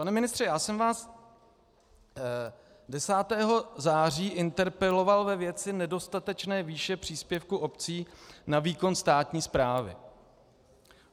Pane ministře, já jsem vás 10. září interpeloval ve věci nedostatečné výše příspěvku obcí na výkon státní správy.